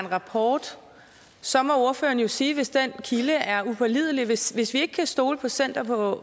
rapport så må ordføreren jo sige det hvis den kilde er upålidelig hvis hvis vi ikke kan stole på center for